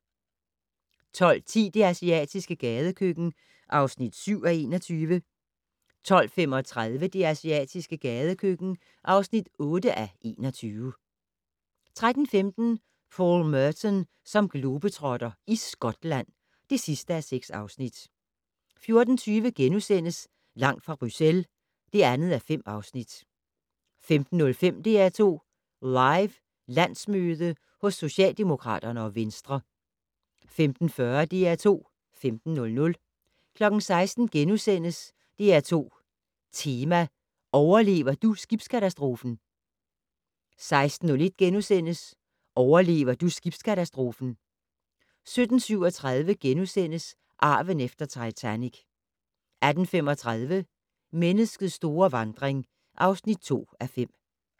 12:10: Det asiatiske gadekøkken (7:21) 12:35: Det asiatiske gadekøkken (8:21) 13:15: Paul Merton som globetrotter - i Skotland (6:6) 14:20: Langt fra Bruxelles (2:5)* 15:05: DR2 Live: Landsmøde hos Socialdemokraterne og Venstre 15:40: DR2 15:00 16:00: DR2 Tema: Overlever du skibskatastrofen? * 16:01: Overlever du skibskatastrofen? * 17:37: Arven efter Titanic * 18:35: Menneskets store vandring (2:5)